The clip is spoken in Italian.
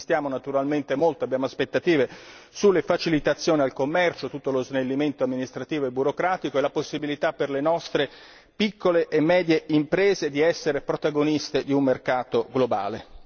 Insistiamo anche molto e abbiamo delle aspettative sulle facilitazioni al commercio su tutto lo snellimento amministrativo e burocratico e la possibilità per le nostre piccole e medie imprese di essere protagoniste di un mercato globale.